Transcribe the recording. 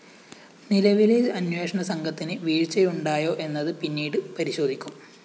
നിലവിലെ അന്വേഷണ സംഘത്തിന് വീഴ്ചയുണ്ടായോ എന്നത് പിന്നീട് പരിശോധിക്കും